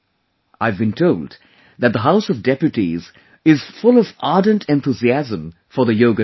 I have been told that the House of Deputies is full of ardent enthusiasm for the Yoga Day